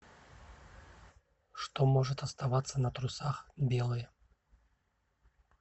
что может оставаться на трусах белое